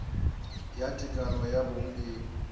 ya tekano ya bong e